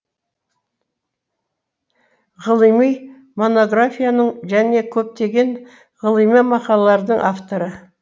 ғылыми монографияның және көптеген ғылыми мақалалардың авторы